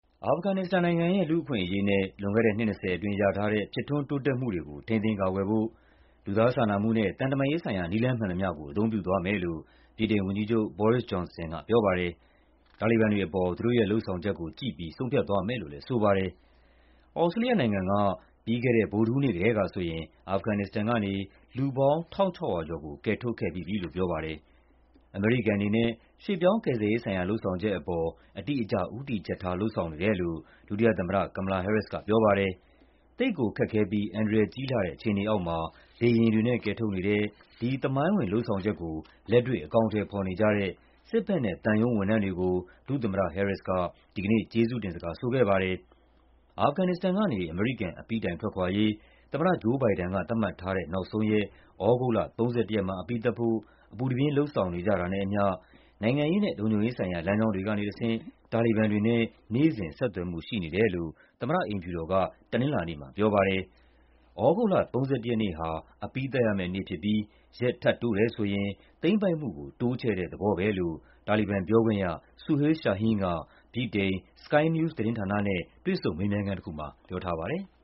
အာဖဂန်နစ္စတန်နိုင်ငံရဲ့ လူ့အခွင့်အရေးနဲ့ လွန်ခဲ့တဲ့နှစ် ၂၀ အတွင်း ရထားတဲ့ ဖြစ်ထွန်းတိုးတက်မှုတွေကို ထိန်းသိမ်းကာကွယ်ဖို့ လူသားစာနာမှုနဲ့ သံတမန်ရေးဆိုင်ရာ နည်းလမ်းမှန်သမျှကို အသုံးပြုသွားမယ်လို့ ဗြိတိန်ဝန်ကြီးချုပ် Boris Johnson ကပြောပါတယ်။ တာလီဘန်တွေအပေါ် သူတို့ရဲ့လုပ်ဆောင်ချက်ကိုကြည့်ပြီး ဆုံးဖြတ်သွားမယ်လို့လည်း ဆိုပါတယ်။ သြစတြေးလျနိုင်ငံက ပြီးခဲ့တဲ့ ဗုဒ္ဓဟူးနေ့ကတည်းကဆိုရင် အာဖဂန်နစ္စတန်ကနေ လူပေါင်း ၁,၆၀၀ ကျော်ကို ကယ်ထုတ်ခဲ့ပြီးပြီလို့ ပြောပါတယ်။ အမေရိကန်အနေနဲ့ ရွှေ့ပြောင်းကယ်ဆယ်ရေးဆိုင်ရာ လုပ်ဆောင်ချက်အပေါ် အတိအကျ ဦးတည်ချက်ထား လုပ်ဆောင်နေတယ်လို့ ဒုသမ္မတ Kamala Harris ကပြောပါတယ်။ သိပ်ကိုခက်ခဲပြီး အန္တရာယ်ကြီးလှတဲ့ အခြေအနေအောက်မှာ လေယာဉ်တွေနဲ့ ကယ်ထုတ်နေတဲ့ ဒီ သမိုင်းဝင် လုပ်ဆောင်ချက်ကို လက်တွေ့ အကောင်အထည်ဖော်နေကြတဲ့ စစ်ဘက်နဲ့သံရုံးဝန်ထမ်းတွေကို ဒုသမ္မတ Harris က ဒီကနေ့ ကျေးဇူးတင်စကားဆိုခဲ့ပါတယ်။ အာဖဂန်နစ္စတန်ကနေ အမေရိကန် အပြီးတိုင်ထွက်ခွာရေး သမ္မတ ဂျိုး ဘိုင်ဒန်က သတ်မှတ်ထားတဲ့ နောက်ဆုံးရက် သြဂုတ်လ ၃၁ ရက်မှာ အပြီးသတ်ဖို့ အပူတပြင်း လုပ်ဆောင်နေတာနဲ့အမျှ နိုင်ငံရေးနဲ့ လုံခြုံရေးဆိုင်ရာ လမ်းကြောင်းတွေကတဆင့် တာလီဘန်တွေနဲ့ နေ့စဉ် ဆက်သွယ်မှုရှိနေတယ်လို့ သမ္မတအိမ်ဖြူတော်က တနင်္လာနေ့မှာပြောပါတယ်။ သြဂုတ်လ ၃၁ ရက်နေ့ဟာ အပြီးသတ်ရမယ့်နေ့ဖြစ်ပြီး ရက်ထပ်တိုးတယ်ဆိုရင် သိမ်းပိုက်မှုကို တိုးချဲ့တဲ့သဘောပဲလို့ တာလီဘန်ပြောခွင့်ရ Suhail Shaheen က ဗြိတိန် Sky News သတင်းဌာနနဲ့ တွေ့ဆုံ မေးမြန်းခန်းတခုမှာ ပြောထားပါတယ်။